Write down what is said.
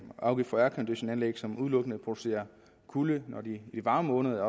afgift for airconditionanlæg som udelukkende producerer kulde i varme måneder